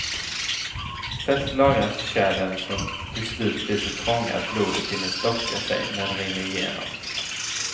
Fett lagras i kärlen som till slut blir så trånga att blodet hinner stocka sig när det rinner igenom.